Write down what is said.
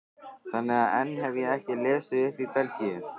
Þannig að enn hef ég ekki lesið upp í Belgíu.